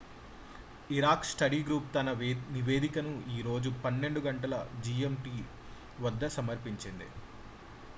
Iraq study group తన నివేదికను ఈ రోజు 12.00 జిఎంటి వద్ద సమర్పించింది